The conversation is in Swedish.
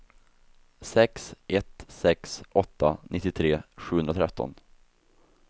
sex ett sex åtta nittiotre sjuhundratretton